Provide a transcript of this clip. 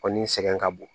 O ni sɛgɛn ka bon